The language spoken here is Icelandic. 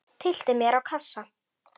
Tyllti mér á kassa.